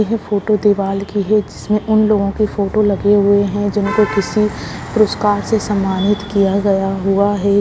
यह फोटो दिवाल की है जिसमें उन लोगों के फोटो लगे हुए हैं जिनके किसी पुरस्कार से सम्मानित किया गया हुआ है।